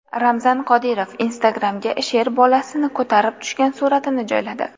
Ramzan Qodirov Instagram’ga sher bolasini ko‘tarib tushgan suratini joyladi.